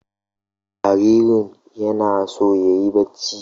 Jaririn yana so yayi barci.